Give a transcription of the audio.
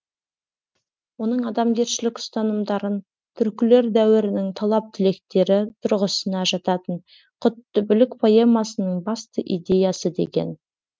оның адамгершілік ұстанымдарын түркілер дәуірінің талап тілектері тұрғысына жататын құтты білік поэмасының басты идеясы деген